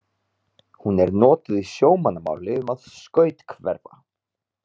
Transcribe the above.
Hún er notuð í sjómannamáli um að skuthverfa.